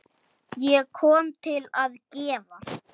Ég kom til að gefa.